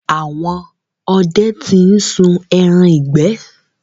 Àwọn ọdẹ ti ń sun ẹran ìgbẹ́.